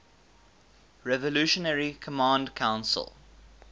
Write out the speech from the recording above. revolutionary command council